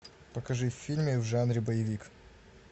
покажи фильмы в жанре боевик